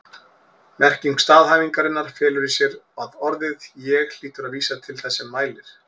Merking staðhæfingarinnar felur í sér að orðið ég hlýtur að vísa til þess sem mælir.